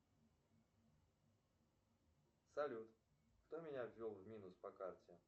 салют кто меня ввел в минус по карте